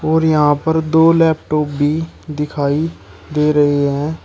और यहां पर दो लैपटॉप भी दिखाई दे रहे हैं।